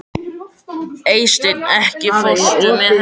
Eysteinn, ekki fórstu með þeim?